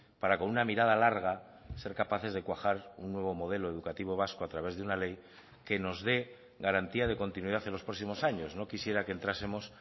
para con una mirada larga ser capaces de cuajar un nuevo modelo educativo vasco a través de una ley que nos dé garantía de continuidad en los próximos años no quisiera que entrásemos